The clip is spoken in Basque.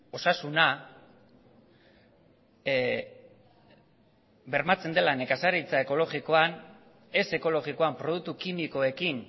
osasuna bermatzen dela nekazaritza ekologikoan ez ekologikoan produktu kimikoekin